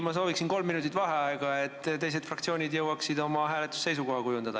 Ma sooviksin võtta kolm minutit vaheaega, et teised fraktsioonid jõuaksid oma hääletusseisukoha kujundada.